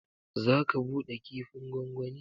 Zaka bude kifin gongoni.